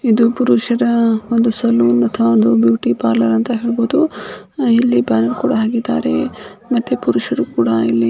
ಇದು ಪುರುಷರ ಒಂದು ಸಲೂನ್ ಅಥವಾ ಬ್ಯೂಟಿಪಾರ್ಲೆರ್ ಅಂತ ಹೇಳಬಹುದು ಇಲ್ಲಿ ಕುಡ ಹಾಕಿದ್ದಾರೆ ಇಲ್ಲಿ ಪುರುಷರು ಕುಡ ಇಲ್ಲಿ --